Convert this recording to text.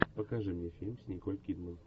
покажи мне фильм с николь кидман